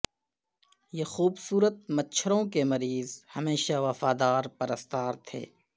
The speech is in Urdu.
یہ خوبصورت مچھروں کے مریض ہمیشہ وفادار پرستار تھے